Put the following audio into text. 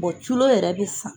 culo yɛrɛ bɛ san.